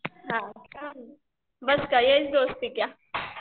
हां का